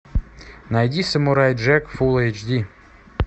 найди самурай джек фул эйч ди